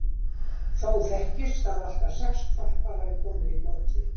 Þó þekkist að allt að sex hvolpar hafi komið í goti.